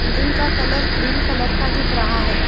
Building का colour cream colour का दिख रहा हैं ।